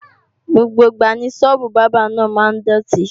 Gbogbo ìgbà ni Sọ́ọ́bù Bábà náà máa ń dòtí